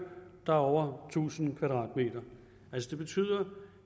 der er over tusind m det betyder